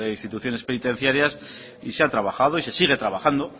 instituciones penitenciarias y se ha trabajado y se sigue trabajando